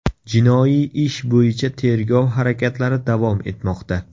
Jinoiy ish bo‘yicha tergov harakatlari davom etmoqda.